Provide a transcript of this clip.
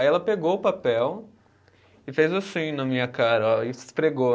Aí ela pegou o papel e fez assim na minha cara, ó, e esfregou.